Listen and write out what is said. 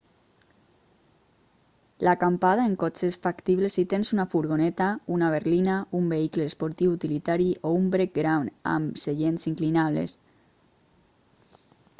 l'acampada en cotxe és factible si tens una furgoneta una berlina un vehicle esportiu utilitari o un brec gran amb seients inclinables